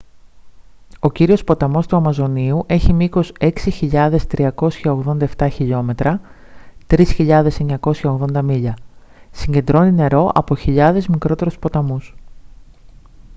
ο κύριος ποταμός του αμαζονίου έχει μήκος 6.387 χιλιόμετρα 3.980 μίλια. συγκεντρώνει νερό από χιλιάδες μικρότερους ποταμούς